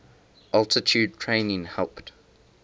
altitude training helped